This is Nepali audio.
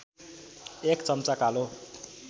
१ चम्चा कालो